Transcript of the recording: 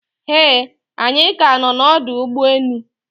Eeh, anyi ka no na ọdụ ụgbọ enu